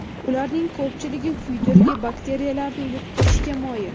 Ularning ko‘pchiligi kuydirgi bakteriyalarini yuqtirishga moyil.